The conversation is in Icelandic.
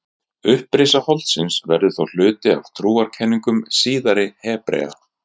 Upprisa holdsins verður þó hluti af trúarkenningum síðari Hebrea.